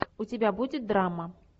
у тебя будет драма